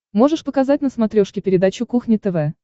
можешь показать на смотрешке передачу кухня тв